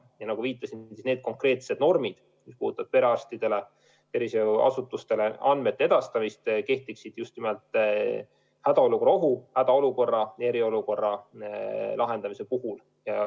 Ja nagu ma viitasin, need konkreetsed normid, mis puudutavad perearstidele ja üldse tervishoiuasutustele andmete edastamist, kehtiksid just nimelt hädaolukorra ohu, hädaolukorra ja eriolukorra ajal.